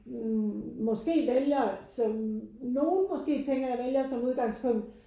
Måske vælger som nogen måske tænker jeg vælger som udgangspunkt